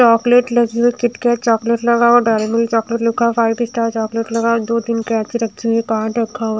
chocolate लगी हुई है कीटकैट चॉकलेट लगा हुआ डेयरी मिल्क चॉकलेट लिखा है फाइव स्टार चॉकलेट लगा है दो-तीन कैंची रक्खी हुई है कार्ड रक्खा हुआ --